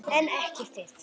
En ekki þið.